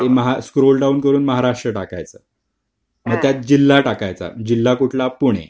scroll down करून महाराष्ट्र टाकायचं त्यात जिल्हा टाकायचा जिल्हा कुठला पुणे